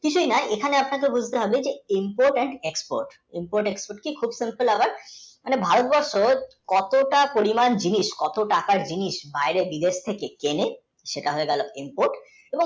এখানে আপনাকে বুঝতে হবে আর import, and, export খুব কিন্তু আবার ভারতবর্ষেকতটা পরিমাণ জিনিস কত টাকার জিনিস বাইরে থেকে কিনি সেটা হয়ে গেল import